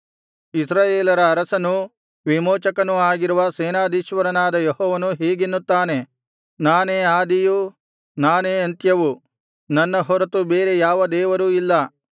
ಇಸ್ರಾಯೇಲರ ಅರಸನೂ ವಿಮೋಚಕನೂ ಆಗಿರುವ ಸೇನಾಧೀಶ್ವರನಾದ ಯೆಹೋವನು ಹೀಗೆನ್ನುತ್ತಾನೆ ನಾನೇ ಆದಿಯೂ ನಾನೇ ಅಂತ್ಯವೂ ನನ್ನ ಹೊರತು ಬೇರೆ ಯಾವ ದೇವರೂ ಇಲ್ಲ